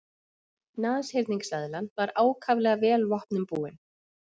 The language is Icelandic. Nashyrningseðlan var ákaflega vel vopnum búin.